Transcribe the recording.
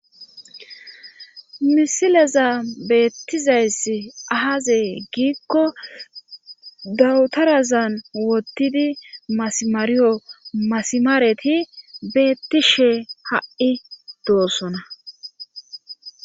misileza beettizayss ahazee giikko dawutarazan wottidi masimariyo masimaareti beetti shee ha7i doossona